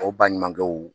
O baɲumankɛw